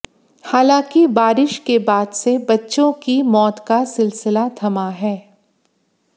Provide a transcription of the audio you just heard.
हालांकि बारिश के बाद से बच्चों की मौत का सिलसिला थमा है